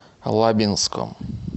лабинском